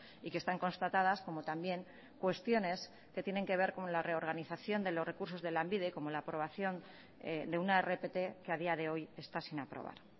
y que están constatadas como también cuestiones que tienen que ver con la reorganización de los recursos de lanbide como la aprobación de una rpt que a día de hoy está sin aprobar